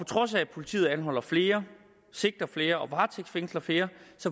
trods af at politiet anholder flere sigter flere og varetægtsfængsler flere